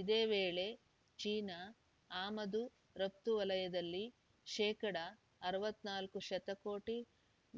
ಇದೇ ವೇಳೆ ಚೀನಾ ಆಮದುರಫ್ತು ವಲಯದಲ್ಲಿ ಶೇಕಡಾ ಅರವತ್ತ್ ನಾಲ್ಕು ಶತಕೋಟಿ